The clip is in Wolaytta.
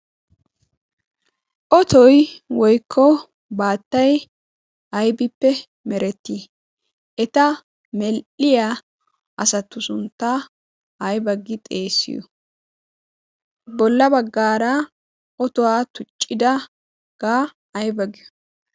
otoi woikko baattai aibippe merettii? eta mel7iya asatu sunttaa aiba gi xeesiyo? bolla baggaara otuwaa tuccidagaa aiba giyo?